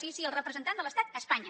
sí sí el representant de l’estat a espanya